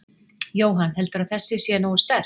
Jóhann: Heldurðu að þessi sé nógu sterk?